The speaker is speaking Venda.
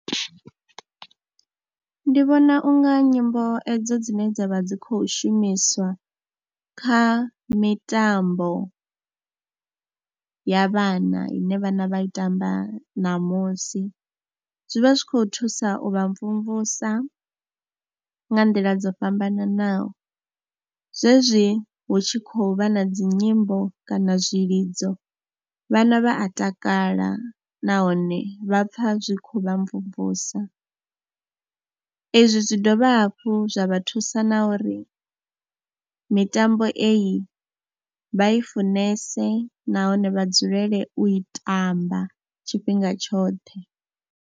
Ndi vhona u nga nyimbo edzo dzine dza vha dzi khou shumiswa kha mitambo ya vhana ine vhana vha i tamba ṋamusi zwi vha zwi khou thusa u vha mvumvusa nga nḓila dzo fhambananaho. Zwezwi hu tshi khou vha na dzi nyimbo kana zwilidzo, vhana vha a takala nahone vha pfha zwi khou vha mvumvusa, izwi zwi dovha hafhu zwa vha thusa na uri mitambo iyi, vha i funese nahone vha dzulele u i tamba tshifhinga tshoṱhe.